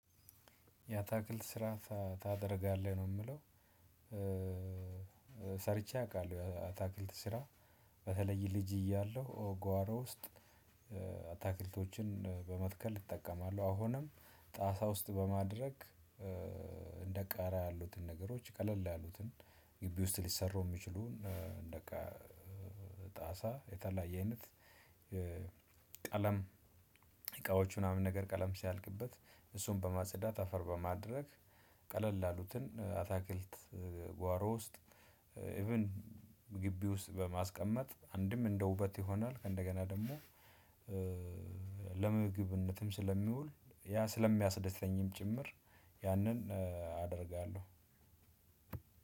ያታክልት ስራ ታደርጋለህ ነው የምለው። ሰርቼ አውቃለሁ ያታክልት ስራ። በተለይ ልጅ እያለሁ ጓሮ ውስጥ። አታክልቶችን በመትከል እጠቀማለሁ አሁንም ጣሳ ውስጥ በማድረግ። እንደ ቃሪያ ያሉትን ነገሮች ቀለል ያሉትን ግቢ ውስጥ ሊሰሩ የሚችሉ። እንደቃ ጣሳ የተለያየ አይነት። ቀለም እቃዎች ምናምን ነገር ቀለም ሲያልቅበት እሱን በማጸዳት አፈር በማድረግ። ቀለል ያሉትን አታክልት ጓሮ ውስጥ ኢቭን ግቢ ውስጥ በማስቀመጥ አንድም እንደ ውበት ይሆናል ከእንደገና ደግሞ። ለምግብነትም ስለሚውል ያ ስለሚያስደስተኝም ጭምር ያንን አደርጋለሁ።